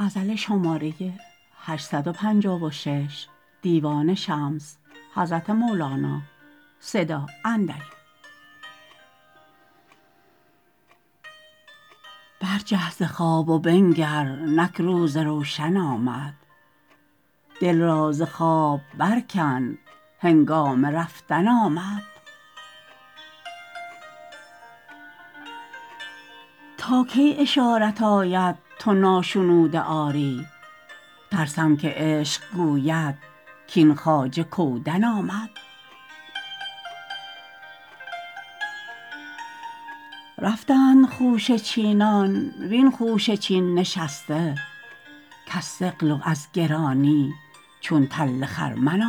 برجه ز خواب و بنگر نک روز روشن آمد دل را ز خواب برکن هنگام رفتن آمد تا کی اشارت آید تو ناشنوده آری ترسم که عشق گوید کاین خواجه کودن آمد رفتند خوشه چینان وین خوشه چین نشسته کز ثقل و از گرانی چون تل خرمن